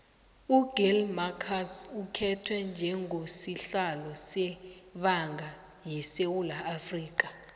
ugill marcus ukhetwe njengo sihlalo sebanga yesewula afrika